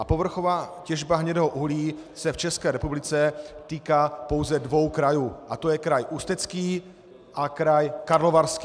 A povrchová těžba hnědého uhlí se v České republice týká pouze dvou krajů a to je kraj Ústecký a kraj Karlovarský.